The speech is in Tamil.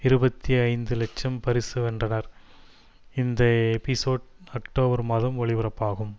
இருபத்தி ஐந்து லட்சம் பரிசு வென்றனர் இந்த எபிசோட் அக்டோபர் மாதம் ஒளிபரப்பாகும்